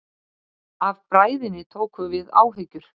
Af bræðinni tóku við áhyggjur.